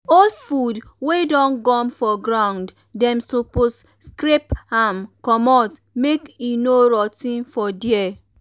old food wey don um gum for ground dem suppose scrape am um commot make e no rot ten for there